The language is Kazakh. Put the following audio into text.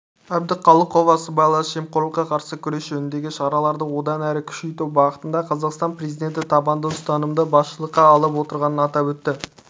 әбдіқалықова сыбайлас жемқорлыққа қарсы күрес жөніндегі шараларды одан әрі күшейту бағытында қазақстан президенті табанды ұстанымды басшылыққа алып отырғанын атап өтті